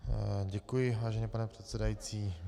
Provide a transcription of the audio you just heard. Děkuji, vážený pane předsedající.